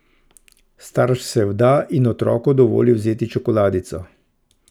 Starš se vda in otroku dovoli vzeti čokoladico.